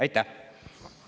Aitäh!